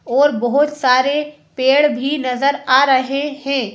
और बहुत सारे पेड़ भी नजर आ रहे हैं।